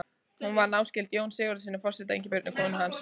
Hún var náskyld Jóni Sigurðssyni forseta og Ingibjörgu konu hans.